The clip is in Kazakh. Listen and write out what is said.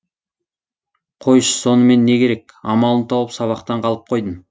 қойшы сонымен не керек амалын тауып сабақтан қалып қойдым